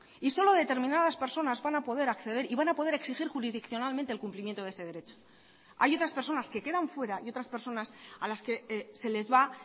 y solo determinadas personas van a poder acceder y van a poder exigir jurisdiccionalmente el cumplimiento de ese derecho hay otras personas que quedan fuera y otras personas a las que se les va